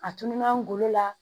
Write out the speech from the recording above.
A tununna n golo la